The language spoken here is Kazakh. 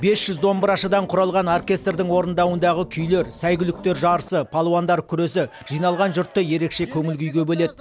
бес жүз домбырашыдан құралған оркестрдің орындауындағы күйлер сәйгүліктер жарысы палуандар күресі жиналған жұртты ерекше көңіл күйге бөледі